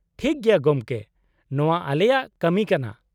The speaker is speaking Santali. -ᱴᱷᱤᱠ ᱜᱮᱭᱟ ᱜᱚᱢᱠᱮ, ᱱᱚᱶᱟ ᱟᱞᱮᱭᱟᱜ ᱠᱟᱹᱢᱤ ᱠᱟᱱᱟ ᱾